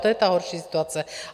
To je ta horší situace.